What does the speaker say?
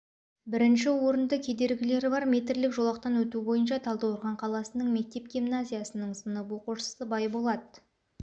бірінші орынды кедергілері бар метрлік жолақтан өту бойынша талдықорған қаласының мектеп гимназиясының сынып оқушысы байболат